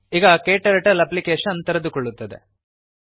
ಈಗ ಕ್ಟರ್ಟಲ್ ಅಪ್ಲಿಕೇಶನ್ ತೆರೆದುಕೊಳ್ಳುತ್ತದೆ